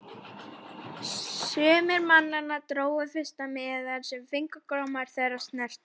Sumir mannanna drógu fyrsta miðann sem fingurgómar þeirra snertu.